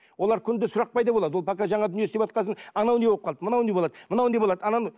олар күнде сұрақ пайда болады ол пока жаңа дүние істеватқасын анау не болып қалды мынау не болады мынау не болады ананы